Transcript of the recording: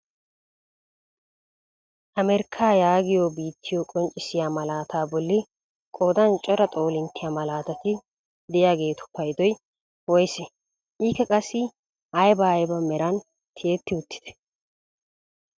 Amerkkaa yaagiyoo biittiyoo qonccisiyaa malataa bolli qoodan cora xoolinttiyaa malatati de'iyaagetu paydoy woysee? Ikka qassi ayba ayba meran tiyetti uttidee?